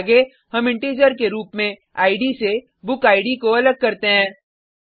आगे हम इंटीजर के रूप में इद से बुकिड को अलग करते हैं